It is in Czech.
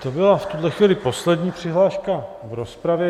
To byla v tuhle chvíli poslední přihláška v rozpravě.